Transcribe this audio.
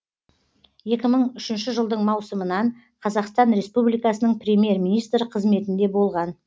екі мың үшінші жылдың маусымынан қазақстан республикасының премьер министрі қызметінде болған